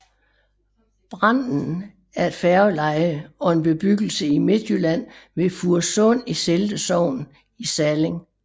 Branden er et færgeleje og en bebyggelse i Midtjylland ved Fursund i Selde Sogn i Salling